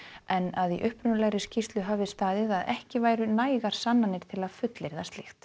en að í upprunalegri skýrslu hafi staðið að ekki væru nægar sannanir til að fullyrða slíkt